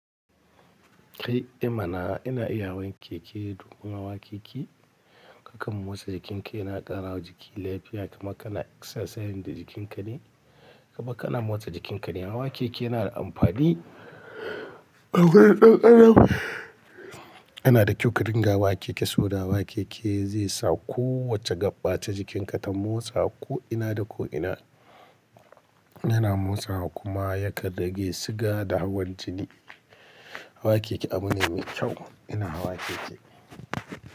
Kai, ae mana? Ina iya hawan keke domin hawa keke kakan motsa jikinka, yana ƙara wa jiki lafiya kamar kana exercise da jikinka ne, kamar kana motsa jikinka ne. Hawa keke yana da amfani. Yanada ƙyau ka dinga hawa keke, soboda hawa keke zaisa kowace gaɓa ta jikinka ta motsa ko'ina da ko'ina. Yana motsawa kuma yakan rage siga da hawan jini. Hawa keke abu ne mai kyau. Ina hawa keke.